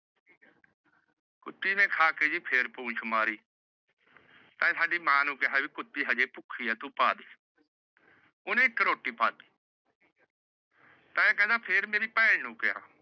ਕੁੱਤੀ ਨੇ ਖਾ ਕੇ ਜੀ ਫੇਰ ਪੂਛ ਮਾਰੀ। ਤੇਏ ਸਾਡੀ ਮਾਂ ਨੂੰ ਕਿਹਾ ਕਿ ਕੁੱਤੀ ਹਜੇ ਭੁੱਖੀ ਏ ਪਦੇ। ਓਹਨੇ ਇੱਕ ਰੋਟੀ ਪਾ ਤੀ। ਤੇਏ ਕਹਿਣਾਂ ਭੈਣ ਨੂੰ ਕਿਹਾ।